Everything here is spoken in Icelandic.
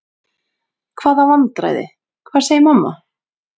Hvaða vandræði, hvað segir mamma?